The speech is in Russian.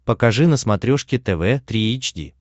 покажи на смотрешке тв три эйч ди